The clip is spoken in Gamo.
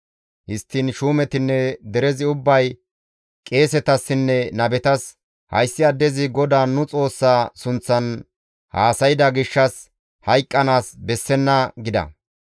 Histtiin shuumetinne derezi ubbay qeesetassinne nabetas, «Hayssi addezi GODAA nu Xoossa sunththan haasayda gishshas hayqqanaas bessenna!» gida.